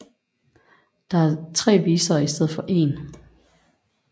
Der er tre visere i stedet for en